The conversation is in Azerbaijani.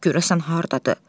Görəsən hardadır?